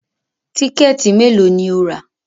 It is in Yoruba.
Tíkẹ̀tì mélòó ni o rà